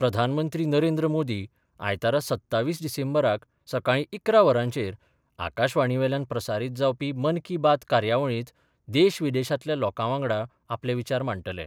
प्रधानमंत्री नरेंद्र मोदी आयतारा सत्तावीस डिसेंबराक सकाळीं इकरा वरांचेर आकाशवाणीवेल्यान प्रसारीत जावपी मन की बात कार्यावळीत देशविदेशातल्या लोकावांगडा आपले विचार मांडटले.